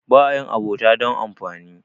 ba a yin abota don amfani